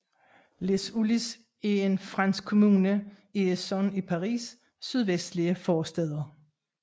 Les Ulis er en fransk kommune i Essonne i Paris sydvestlige forstæder